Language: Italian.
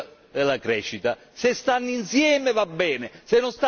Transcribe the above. se non stanno insieme non ci stiamo noi socialisti e democratici.